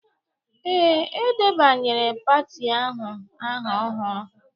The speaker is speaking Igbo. Ee, e debanyere pati ahụ aha ọhụrụ